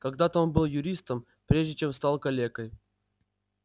когда-то он был юристом прежде чем стал калекой